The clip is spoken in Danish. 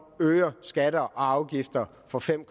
øger skatter og afgifter for fem